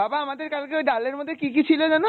বাবা আমাদের কালকে ওই ডালের মধ্যে কী কী ছিল যেন?